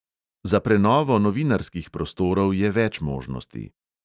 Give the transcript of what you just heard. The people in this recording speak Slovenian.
Za prenovo novinarskih prostorov je več možnosti.